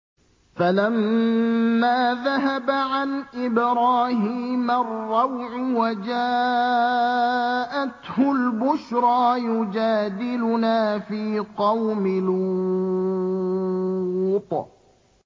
فَلَمَّا ذَهَبَ عَنْ إِبْرَاهِيمَ الرَّوْعُ وَجَاءَتْهُ الْبُشْرَىٰ يُجَادِلُنَا فِي قَوْمِ لُوطٍ